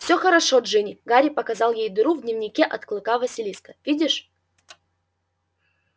всё хорошо джинни гарри показал ей дыру в дневнике от клыка василиска видишь